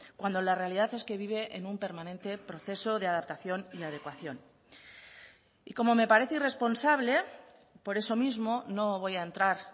cuando la realidad es que vive en un permanente proceso de adaptación y adecuación y como me parece irresponsable por eso mismo no voy a entrar